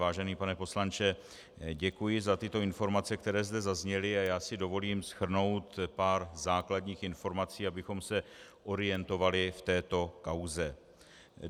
Vážený pane poslanče, děkuji za tyto informace, které zde zazněly, a já si dovolím shrnout pár základních informací, abychom se orientovali v této kauze.